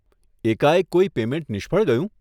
એકાએક કોઈ પેમેંટ નિષ્ફળ ગયું?